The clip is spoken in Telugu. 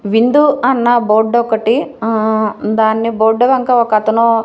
విండో అన్న బోర్డొకటి ఆ దాని బోర్డు వెనక ఒకతను--